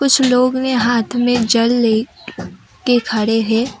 कुछ लोग ने हाथ में जल ले के खड़े हैं।